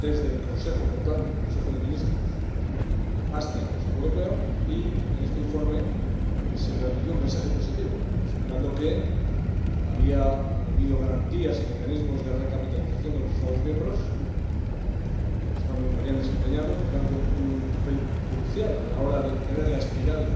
Desde el Consejo, por tanto, el Consejo de Ministros, hasta el Consejo Europeo, y en este informe se transmitió un mensaje positivo, señalando que había habido garantías y mecanismos de recapitalización de los Estados miembros y que los Estados miembros habían desempeñado, por tanto, un papel crucial a la hora de detener la espiral